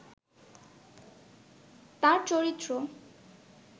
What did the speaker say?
তাঁর চরিত্র